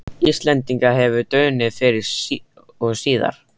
Íslendinga hefur dunið fyrr og síðar.